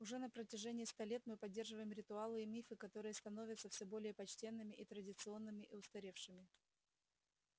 уже на протяжении ста лет мы поддерживаем ритуалы и мифы которые становятся все более почтенными и традиционными и устаревшими